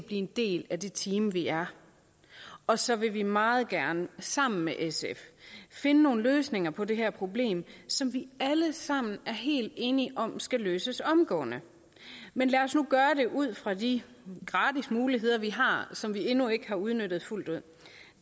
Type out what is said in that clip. en del af det team vi er og så vil vi meget gerne sammen med sf finde nogle løsninger på det her problem som vi alle sammen er helt enige om skal løses omgående men lad os nu gøre det ud fra de gratis muligheder vi har som vi endnu ikke har udnyttet fuldt ud